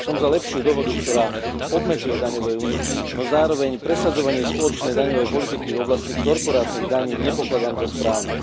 Som za lepšiu dohodu, ktorá obmedzuje daňové úniky, no zároveň presadzovanie spoločnej daňovej politiky v oblasti korporátnych daní nepokladám za správne.